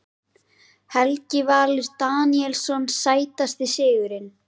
Helgi Valur Daníelsson Sætasti sigurinn?